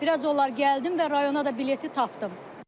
Biraz onlar gəldim və rayona da bileti tapdım.